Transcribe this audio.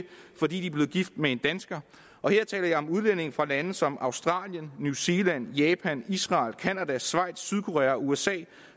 fordi de er blevet gift med en dansker og her taler jeg om udlændinge fra lande som australien new zealand japan israel canada schweiz sydkorea og usa det